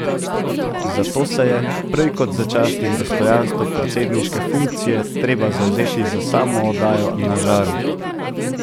Zato se je, prej kot za čast in dostojanstvo predsedniške funkcije, treba zavzeti za samo oddajo Na žaru.